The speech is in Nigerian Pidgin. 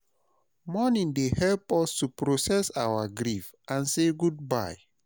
Mourning dey help us to process our grief and say goodbye.